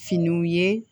Finiw ye